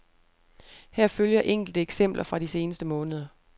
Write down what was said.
Her følger enkelte eksempler fra de seneste måneder.